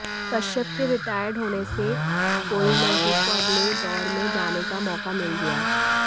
कश्यप के रिटायर्ड होने से कोइलहो को अगले दौर में जाने का मौका मिल गया